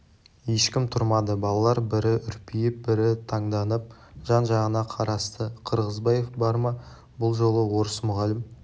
ешкім тұрмады балалар бірі үрпиіп бірі таңданып жан-жағына қарасты қырғызбаев бар ма бұл жолы орыс мұғалім